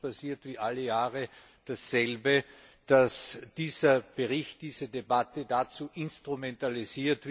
Sondern es passiert dasselbe wie alle Jahre Dieser Bericht, diese Debatte werden dazu instrumentalisiert,